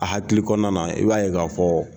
A hakili kɔnɔna na i b'a ye k'a fɔ